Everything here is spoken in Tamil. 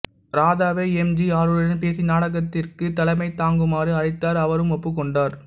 ராதாவே எம் ஜி ஆருடன் பேசி நாடகத்திற்குத் தலைமை தாங்குமாறு அழைத்தார் அவரும் ஒப்புக் கொண்டார்